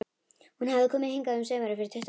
Hún hafði komið hingað um sumar fyrir tuttugu árum.